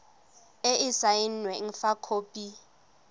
e e saenweng fa khopi